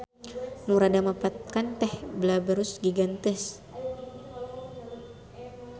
Nu rada mapakan teh Blaberus giganteus.